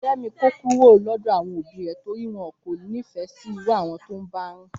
Fẹ́mi kó kúrò lọ́dọ̀ àwọn òbí rè torí wọ́n kò nífẹ̀ẹ́ sí irú àwọn tó ń bá rìn